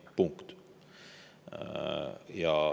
Punkt.